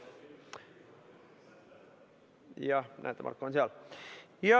Jah, näete, Marko on seal.